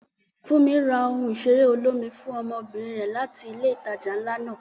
Funmi ra ohun ìṣeré olómi fún ọmọbìnrin rẹ̀ láti ilé ìtajà ńlá náà.